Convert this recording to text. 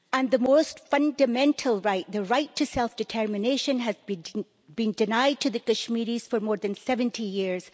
The most fundamental right, the right to self determination, has been denied to the Kashmiris for more than 70 years.